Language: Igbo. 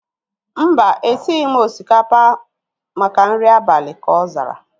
Mba, esighi m osikapa maka nri abalị ka ọ zara